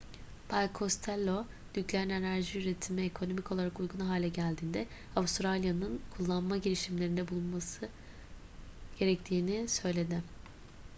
bay costello nükleer enerji üretimi ekonomik olarak uygun hale geldiğinde avustralya'nın kullanma girişimlerinde bulunması gerektiğini söyledi